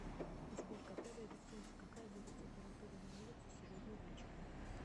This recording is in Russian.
сбер когда выйдет солнце какая будет температура на улице сегодня вечером